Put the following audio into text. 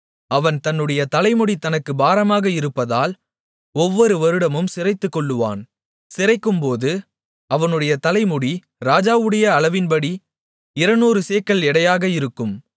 அவன் தன்னுடைய தலைமுடி தனக்குப் பாரமாக இருப்பதால் ஒவ்வொரு வருடமும் சிரைத்துக்கொள்ளுவான் சிரைக்கும்போது அவனுடைய தலைமுடி ராஜாவுடைய அளவின்படி இருநூறு சேக்கல் எடையாக இருக்கும்